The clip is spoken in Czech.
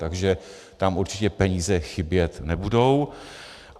Takže tam určitě peníze chybět nebudou.